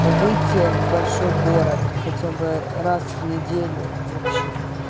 выйти в большой город хотя бы раз в неделю вообще